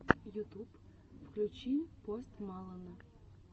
ютуб включи пост малона